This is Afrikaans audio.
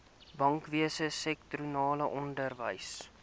bankwese sektorale onderwys